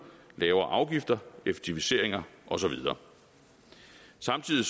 lavere afgifter effektiviseringer og så videre samtidig